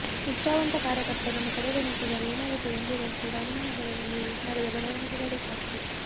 ನಿಷ್ಠಾವಂತ ಕಾರ್ಯಕರ್ತರನ್ನು ಕಡೆಗಣಿಸಿದರೆ ಏನಾಗುತ್ತದೆ ಎಂಬುದಕ್ಕೆ ರಾಮನಗರದಲ್ಲಿ ನಡೆದ ಬೆಳೆವಣಿಗೆಗಳಿಗೆ ಸಾಕ್ಷಿ